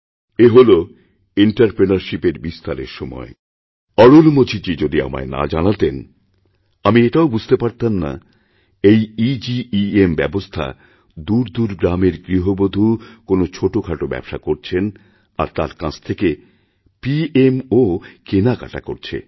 এই এন্টারপ্রেনিউরশিপ এরবিস্তারের সময় সুযোগ যদি অরুলমোঝিজী যদি আমায় না জানাতেন আমিও এতটা বুঝতেপারতাম না এই এগেম ব্যবস্থা দূরদূর গ্রামের গৃহবধূ কোনও ছোটখাটো ব্যবসা করছেন আর তাঁর কাছ থেকে পিএমও কেনাকেটা করছে